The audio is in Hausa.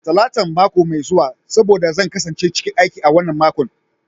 Talatan mako mai zuwa saboda zan kasance cikin aiki a wannan makon.